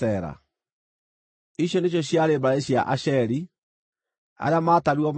Icio nĩcio ciarĩ mbarĩ cia Asheri; arĩa maatarirwo maarĩ andũ 53,400.